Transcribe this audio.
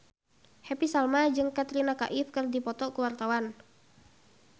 Happy Salma jeung Katrina Kaif keur dipoto ku wartawan